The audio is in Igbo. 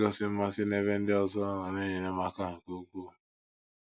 Igosi mmasị n’ebe ndị ọzọ nọ na - enyere m aka nke ukwuu.